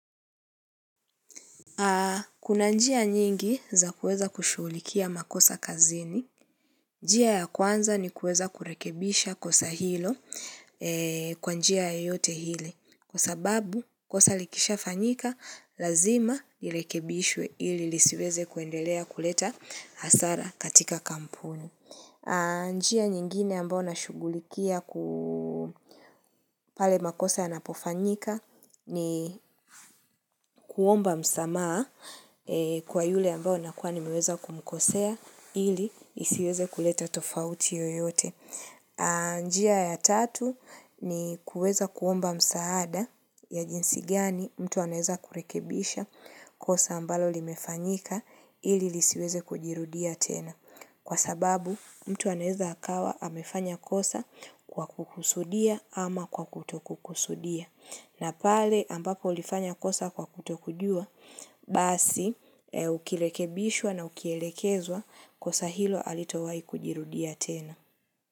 Kuna njia nyingi za kueza kushulikia makosa kazini. Njia ya kwanza ni kueza kurekebisha kosa hilo kwa njia ya yote hili. Kwa sababu kosa likisha fanyika, lazima irekebishwe ili lisiweze kuendelea kuleta hasara katika kampuni. Anjia nyingine ambao nashugulikia kupale makosa ya napofanyika ni kuomba msamaa kwa yule ambao nakuwa ni meweza kumkosea ili isiweze kuleta tofauti yoyote. Anjia ya tatu ni kuweza kuomba msaada ya jinsi gani mtu anaeza kurekebisha kosa ambalo limefanyika ili lisiweze kujirudia tena. Kwa sababu mtu anaeza akawa amefanya kosa kwa kukusudia ama kwa kutokukusudia. Na pale ambapo ulifanya kosa kwa kutokujua, basi ukirekebishwa na ukielekezwa kosa hilo halitowai kujirudia tena.